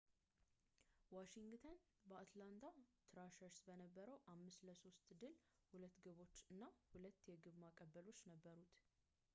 ዋሺንግተን በአትላንታ ትራሸርስ በነበረው 5-3 ድል 2 ግቦች እና 2 የግብ ማቀበሎች ነበሩት